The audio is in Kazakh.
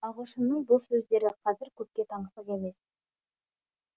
ағылшынның бұл сөздері қазір көпке таңсық емес